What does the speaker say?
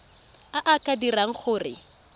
a a ka dirang gore